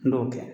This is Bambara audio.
N'o kɛ